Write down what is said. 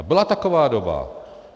A byla taková doba.